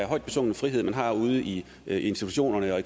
højt besungne frihed man har ude i institutionerne og